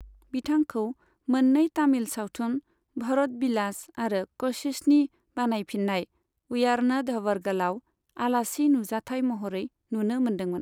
बिथांखौ मोननै तामिल सावथुन, भरत बिलास आरो क'शिशनि बानायफिननाय, उयार्नधवरगलाव आलासि नुजाथाय महरै नुनो मोन्दोंमोन।